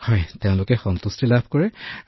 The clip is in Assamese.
ডঃ মদন মণিঃ হয় মই যথেষ্ট সন্তুষ্টি পাওঁ